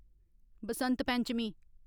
Basant Panchami